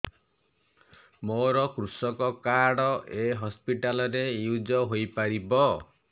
ମୋର କୃଷକ କାର୍ଡ ଏ ହସପିଟାଲ ରେ ୟୁଜ଼ ହୋଇପାରିବ